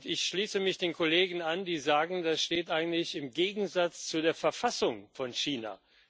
Ich schließe mich den Kollegen an, die sagen Das steht eigentlich im Gegensatz zu der Verfassung Chinas.